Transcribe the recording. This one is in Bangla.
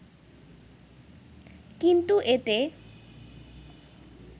কিন্তু এতে